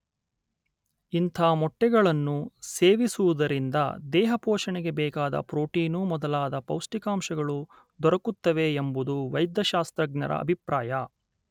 ಇಂಥ ಮೊಟ್ಟೆಗಳನ್ನು ಸೇವಿಸುವುದರಿಂದ ದೇಹಪೋಷಣೆಗೆ ಬೇಕಾದ ಪ್ರೋಟೀನು ಮೊದಲಾದ ಪೌಷ್ಠಿಕಾಂಶಗಳು ದೊರಕುತ್ತವೆ ಎಂಬುದು ವೈದ್ಯ ಶಾಸ್ತ್ರಜ್ಞರ ಅಭಿಪ್ರಾಯ